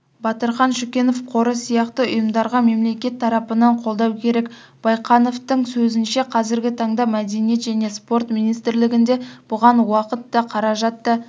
батырхан шүкенов қоры сияқты ұйымдарға мемлекет тарапынан қолдау керек байқановтың сөзінше қазіргі таңда мәдениет және спорт министрлігінде бұған уақыт та қаражат